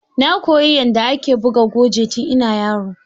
Na koya yanda ake buga goje tun ina yaro